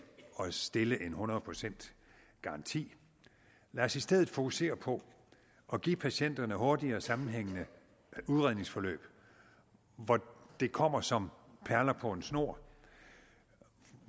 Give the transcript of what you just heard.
at stille en hundrede procent garanti lad os i stedet fokusere på at give patienterne hurtigere sammenhængende udredningsforløb hvor det kommer som perler på en snor